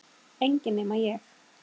Enginn nema ég